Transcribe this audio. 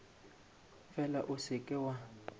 fela o se ke wa